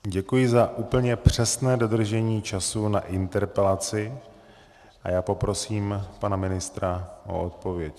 Děkuji za úplně přesné dodržení času na interpelaci a já poprosím pana ministra o odpověď.